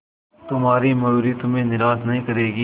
तुम्हारी मयूरी तुम्हें निराश नहीं करेगी